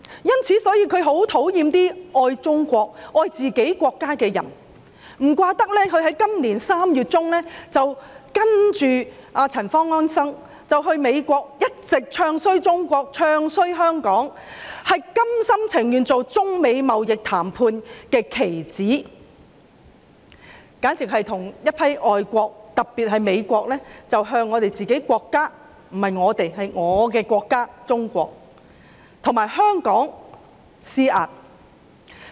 因此，他很討厭那些愛中國、愛自己國家的人，難怪他在今年3月中跟隨陳方安生到美國，一直"唱衰"中國、"唱衰"香港，心甘情願成為中美貿易談判的棋子，與一眾外國，特別是美國，向我們自己國家——不是我們，應是我的國家中國和香港施壓。